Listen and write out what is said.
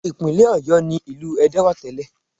Ìpínlẹ̀ Ọ̀yọ́ ni ìlú Ẹdẹ wà tẹ́lẹ̀